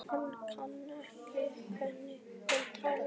Hann kann ekki við hvernig hún talar.